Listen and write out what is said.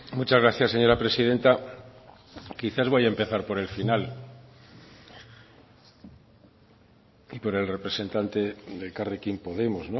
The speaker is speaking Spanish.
muchas gracias señora presidenta quizás voy a empezar por el final y por el representante de elkarrekin podemos